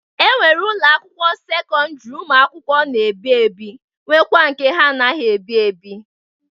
E nwere ụlọ sekọndịrị ụmụ akwụkwọ na-ebi ebi nwekwa nke ha anaghị ebi ebi.